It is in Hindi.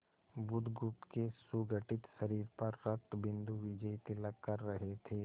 बुधगुप्त के सुगठित शरीर पर रक्तबिंदु विजयतिलक कर रहे थे